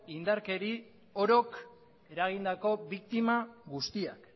indarkeri orok eragindako biktima guztiak